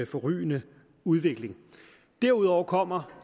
forrygende udvikling derudover kommer